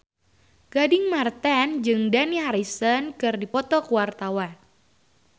Gading Marten jeung Dani Harrison keur dipoto ku wartawan